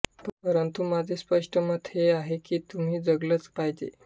परंतु माझे स्पष्ट मत हे आहे की तुम्ही जगलंच पाहीजे